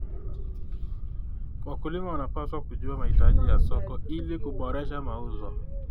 Wakulima wanapaswa kujua mahitaji ya soko ili kuboresha mauzo.